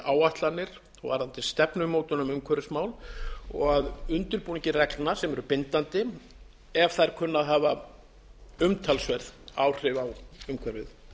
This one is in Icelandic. áætlanir og stefnumótun um umhverfismál og að undirbúningi reglna sem eru bindandi ef þær kunna að hafa umtalsverð áhrif á umhverfið